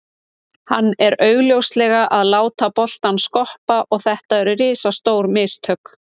Hann er augljóslega að láta boltann skoppa og þetta eru risastór mistök.